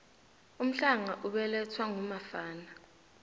umhlanga ubelathwa ngumafana